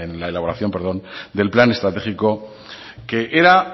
la elaboración del plan estratégico que era